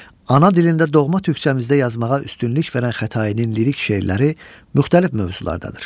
Ana dilində, doğma türkçəmizdə yazmağa üstünlük verən Xətainin lirik şeirləri müxtəlif mövzulardadır.